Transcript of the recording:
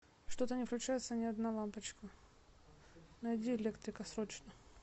что то не включается ни одна лампочка найди электрика срочно